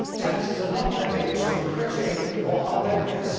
Taxes are not levied to look pretty or harmonious.